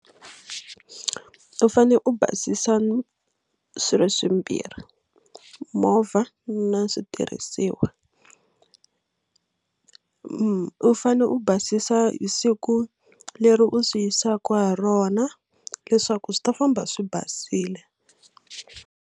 U fane u basisa swilo swimbirhi movha na switirhisiwa u fane u basisa hi siku leri u swi yisaka ha rona leswaku swi ta famba swi basile.